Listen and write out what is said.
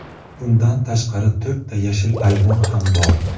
Bundan tashqari, to‘rtta yashil ayvon ham bor.